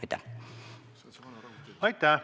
Aitäh!